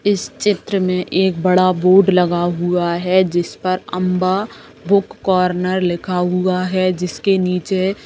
इस चित्र में एक बडा बोर्ड लगा हुआ है जिस पर अम्बा बुक कॉर्नर लिखा हुआ है जिसके नीचे --